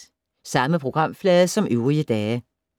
Samme programflade som øvrige dage